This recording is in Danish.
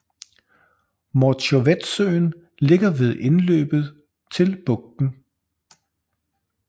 Morzjovetsøen ligger ved indløbet til bugten